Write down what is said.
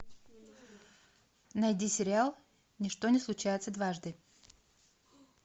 найди сериал ничто не случается дважды